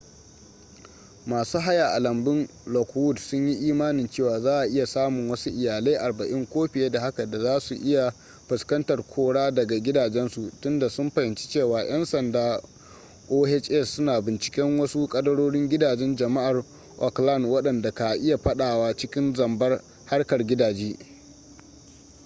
masu haya a lambun lockwood sunyi imanin cewa za'a iya samun wasu iyalai 40 ko fiye da haka da zasu iya fuskantar kora daga gidajensu tunda sun fahimci cewa 'yan sanda oha suna binciken wasu kadarorin gidajen jama'ar oakland wadanda ka iya fadawa cikin zambar harkar gidaje